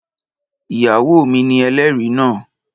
Ìyàwó mi ni ẹlẹ́rìí náà